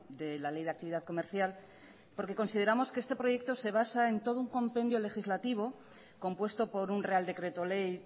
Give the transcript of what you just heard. de la ley de actividad comercial porque consideramos que este proyecto se basa en todo un compendio legislativo compuesto por un real decreto ley